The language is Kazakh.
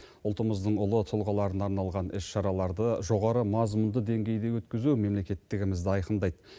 ұлтымыздың ұлы тұлғаларына арналған іс шараларды жоғары мазмұнды деңгейде өткізу мемлекеттігімізді айқындайды